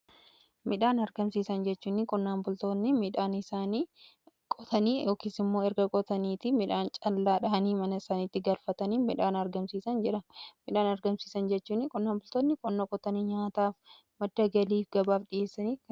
midhaan argamsiisan jechuun qonnaan bultoonni midhaan isaan qotanii yookiin immoo erga qotanii midhaan callaa mana isaaniitti galfatanii midhaan argamsiisan jedhama. midhaan argamsiisan jechuun qonnaan bultoonni qonna qotanii nyaataaf, madda galiif fi gabaaf kan dhiyeessan jechudha.